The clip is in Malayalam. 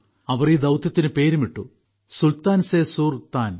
അവർ ഈ ദൌത്യത്തിന് പേരുമിട്ടു സുൽത്താൻ സെ സുർതാൻ